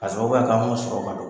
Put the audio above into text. K'a sababuya kɛ an m'o sɔrɔ ka do